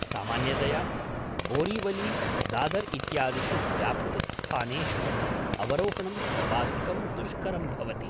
सामान्यतया बोरीवली, दादर् इत्यादिषु व्यापृतस्थानेषु अवरोहणं सर्वाधिकं दुष्करं भवति।